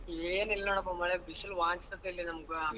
ಏನ್ ಇಲ್ಲಾ ನೋಡ್ಪ ಮ್ಯಾಲೆ ಬಿಸಿಲು ವಾಂಚ್ತಿದೆ ನಮ್ಗೆ.